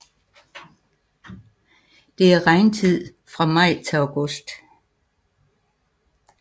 Det er regntid fra maj til august